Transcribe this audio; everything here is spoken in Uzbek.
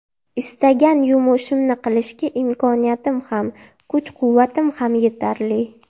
Istagan yumushimni qilishga imkoniyatim ham, kuch-quvvatim ham yetarli.